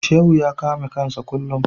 Shehu ya kame kansa kullum.